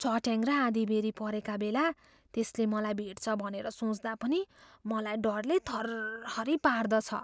चट्याङ र आँधी बेह्री परेका बेला त्यसले मलाई भेट्छ भनेर सोच्दा पनि मलाई डरले थरहरी पार्दछ।